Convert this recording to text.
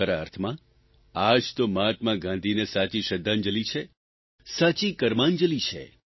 ખરા અર્થમાં આ જ તો મહાત્મા ગાંધીને સાચી શ્રદ્ધાંજલિ છે સાચી કર્માંજલી છે